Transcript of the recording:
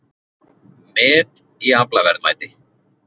Met í aflaverðmæti